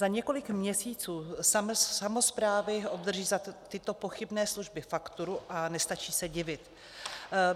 Za několik měsíců samosprávy obdrží za tyto pochybné služby fakturu a nestačí se divit.